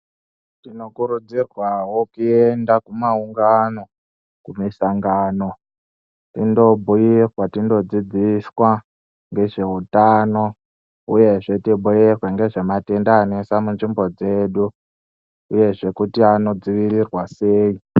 Tinokurudzirwawo kuenda kumaungnao kumusangano ondobhuirwa achindodzidziswa ngezvehutano uyezve zvoita kubeurwa ndezvematwnda aenda nzvimbo dzedu uyezve Anodzivirira sei.